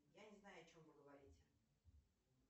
я не знаю о чем вы говорите